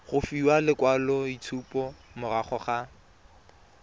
go fiwa lekwaloitshupo morago ga